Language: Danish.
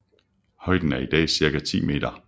Højden er i dag cirka 10 meter